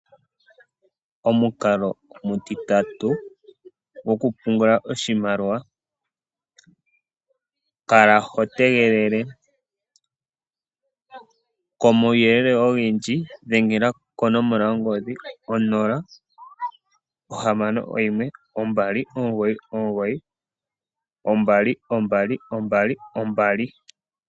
Omukalo omutitatu goku pungula oshimaliwa, kala ho tegelele. Komauyelele ogendji dhengela konomola yo ngodhi onola ohamano oyimwe, ombali, omugoyi, omugoyi, noombali yeli yane.